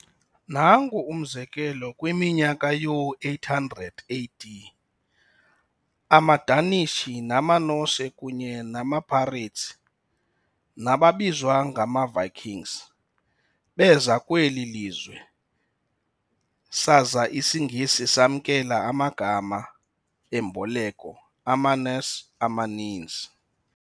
Nanku umzekelo, kwiminyaka yoo800 AD, amaDanish namaNorse kunye namapirates, nababizwa ngamaVikings, beza kweli lizwe saza isiNgesi samkela amagama emboleko amaNorse amaninzi.